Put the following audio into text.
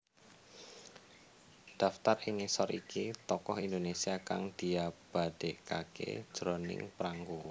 Daftar ing ngisor iki Tokoh Indonesia kang diabadèkaké jroning prangko